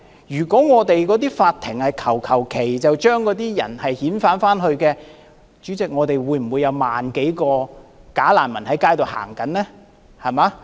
如果我們的法庭隨便批准遣返難民的話，代理主席，現在便不會有萬多名假難民在街上行走。